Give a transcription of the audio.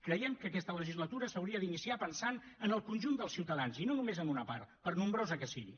creiem que aquesta legislatura s’hauria d’iniciar pensant en el conjunt dels ciutadans i no només en una part per nombrosa que sigui